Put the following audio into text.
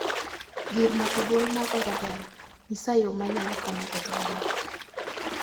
Gir mako duol mar orevena, nyisa yoo ma anyalo kano godo wende